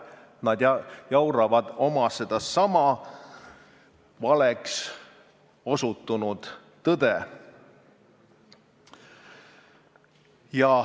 Nad jauravad oma sedasama valeks osutunud tõde.